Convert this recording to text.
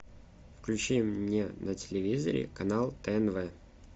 включи мне на телевизоре канал тнв